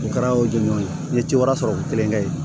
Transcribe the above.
O kɛra o don n ye ci wɛrɛ sɔrɔ ko kelen kɛ ye